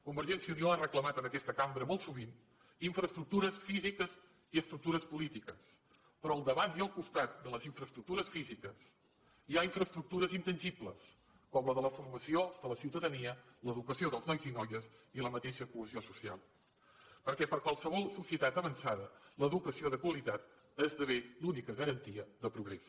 convergència i unió ha reclamat en aquesta cambra molt sovint infraestructures físiques i estructures polítiques però al davant i al costat de les infraestructures físiques hi ha infraestructures intangibles com la de la formació de la ciutadania l’educació dels nois i noies i la mateixa cohesió social perquè per a qualsevol societat avançada l’educació de qualitat esdevé l’única garantia de progrés